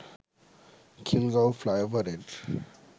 খিলগাঁও ফ্লাইওভারের